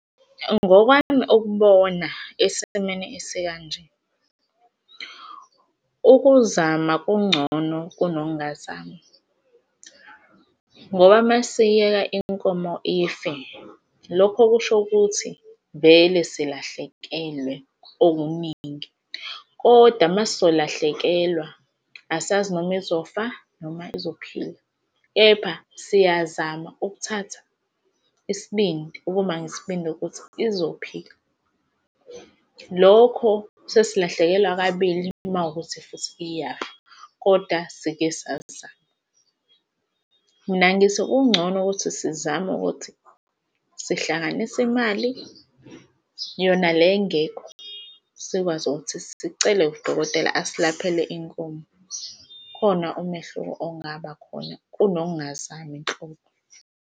Ngokwami, ukubona esimeni esikanje ukuzama kungcono kunokungazami, ngoba mesiyiyeka inkomo ife, lokho kusho ukuthi vele silahlekelwe okuningi, kodwa uma sizolahlekelwa asazi noma izofa noma ezophila, kepha siyazama ukuthatha isibindi ukuba nesibindi ukuthi izophuka, lokho sesilahlekelwa kabili uma kuwukuthi futhi iyafa, kodwa sike sazama. Mina ngithi kungcono ukuthi sizame ukuthi sihlanganise imali yona le engekho sikwazi ukuthi sicele udokotela asilaphele inkomo khona umehluko ongaba khona kunokungazami nhlobo.